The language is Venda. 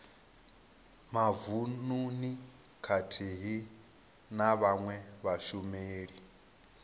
mavununi khathihi na vhawe vhashumeli